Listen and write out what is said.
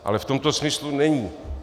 Ale v tomto smyslu není.